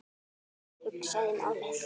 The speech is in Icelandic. Hugsaði málið.